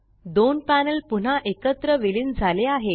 दोन पॅनल पुन्हा एकत्र विलीन झाले आहेत